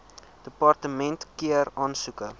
departement keur aansoeke